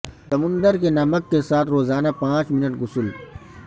سمندر کے نمک کے ساتھ روزانہ پانچ منٹ غسل